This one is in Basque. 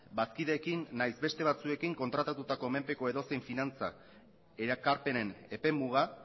bazkideekin nahiz beste batzuekin kontratatutako menpeko edozein finantzak erakarpenen epemuga